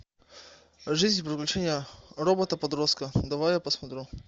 жизнь и приключения робота подростка давай я посмотрю